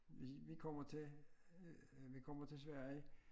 Vi vi kommer til vi kommer til Sverige